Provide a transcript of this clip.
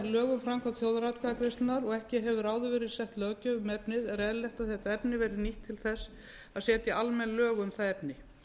um framkvæmd þjóðaratkvæðagreiðslunnar og ekki hefur áður verið sett löggjöf um efnið er eðlilegt að þetta tilefni verði nýtt til þess að setja almenn lög um það efni